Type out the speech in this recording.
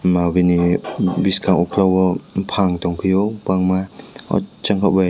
mo bini boskang okolog o bopang tong piyo kobangma o jang ke bai.